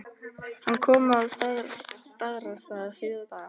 Hann kom að Staðarstað síðla dags.